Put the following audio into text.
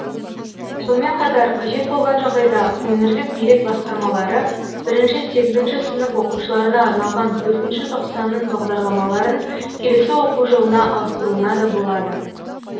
сонымен қатар қажет болған жағдайда өңірлік билік басқармалары бірінші сегізінші сынып оқушыларына арналған төртінші тоқсанның бағдарламаларын келесі оқу жылына ауыстыруына да болады